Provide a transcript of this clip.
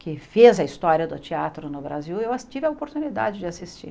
que fez a história do teatro no Brasil, eu a tive a oportunidade de assistir.